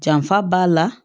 Janfa b'a la